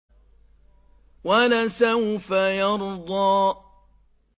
وَلَسَوْفَ يَرْضَىٰ